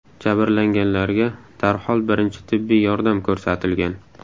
Jabrlanganlarga darhol birinchi tibbiy yordam ko‘rsatilgan.